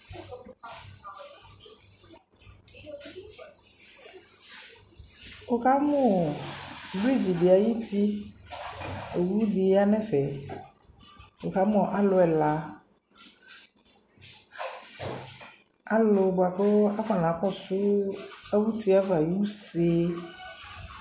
wʋkamʋ bridge di ayiti, ɔwʋ di yanʋ ɛƒɛ, wʋkamʋ alʋ ɛla, alʋ bʋakʋ akɔna kɔsʋ awʋ ʋtiɛ aɣa ayi ʋsɛ